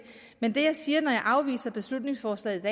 men det jeg siger når jeg afviser beslutningsforslaget